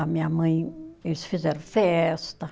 A minha mãe, eles fizeram festa.